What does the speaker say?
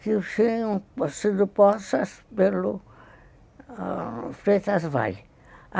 que tinham sido possas pelo Freitas Vales.